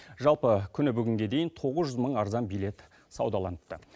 жалпы күні бүгінге дейін тоғыз жүз мың арзан билет саудаланыпты